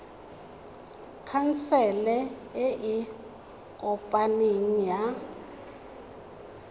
khansele e e kopaneng ya